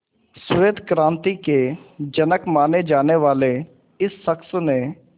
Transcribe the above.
श्वेत क्रांति के जनक माने जाने वाले इस शख्स ने